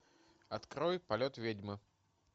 открой полет ведьмы